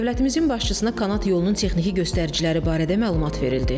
Dövlətimizin başçısına kanat yolunun texniki göstəriciləri barədə məlumat verildi.